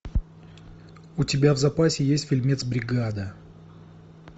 у тебя в запасе есть фильмец бригада